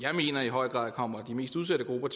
jeg mener i høj grad kommer de mest udsatte grupper